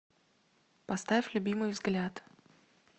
поставь любимый взгляд